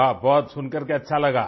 वाह सुनकर के बहुत अच्छा लगा